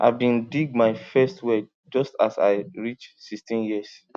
i bin dig my first well just as i reach sixteen years